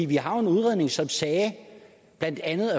vi har jo en udredning som siger at blandt andet